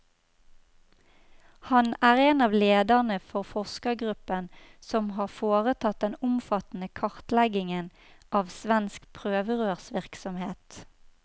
Han er en av lederne for forskergruppen som har foretatt den omfattende kartleggingen av svensk prøverørsvirksomhet.